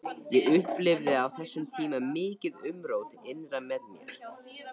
Ég upplifði á þessum tíma mikið umrót innra með mér.